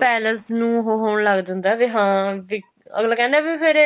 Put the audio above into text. palace ਨੂੰ ਉਹ ਹੋਣ ਲੱਗ ਜਾਂਦਾ ਵੀ ਹਾਂ ਅਗਲਾ ਕਹਿੰਦਾ ਹੈ ਵੀ ਫੇਰ